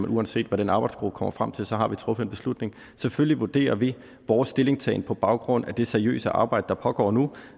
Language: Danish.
uanset hvad den arbejdsgruppe kommer frem til så har vi truffet en beslutning selvfølgelig vurderer vi vores stillingtagen på baggrund af det seriøse arbejde der pågår nu